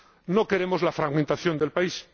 No queremos la fragmentación del país.